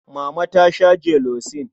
Mama ta sha jelosin.